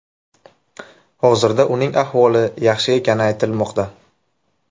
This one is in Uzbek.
Hozirda uning ahvoli yaxshi ekani aytilmoqda.